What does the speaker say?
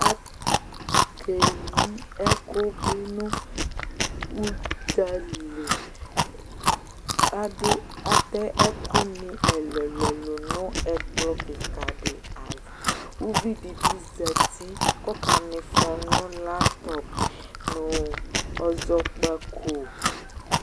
Ake yi ɛkʋ bɩ nʋ ʋdzaliAdʋ ,atɛ ɛkʋ nɩ ɛlʋɛlʋ nʋ ɛkplɔ kɩka dɩ ava Uvi di bɩ zati kɔka mɩfɔ nʋ latɔp nʋ ɔzɔkpako